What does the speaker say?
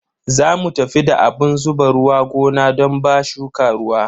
Za mu tafi da abun zuba ruwa gona don ba shuka ruwa.